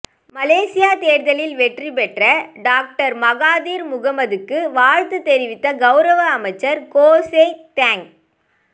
மலேசியத் தேர்தலில் வெற்றிபெற்ற doctor Mahathir முகமதுக்கு வாழ்த்து தெரிவித்த கௌரவ அமைச்சர் கோ சோக் தோங்